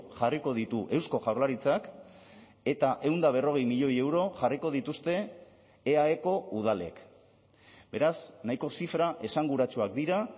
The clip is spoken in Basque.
jarriko ditu eusko jaurlaritzak eta ehun eta berrogei milioi euro jarriko dituzte eaeko udalek beraz nahiko zifra esanguratsuak dira